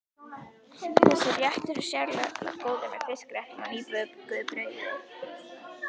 Þessi réttur er sérlega góður með fiskréttum og nýbökuðu brauði.